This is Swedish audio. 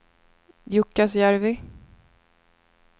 Jukkasjärvi